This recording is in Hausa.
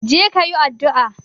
Je kayi addu'a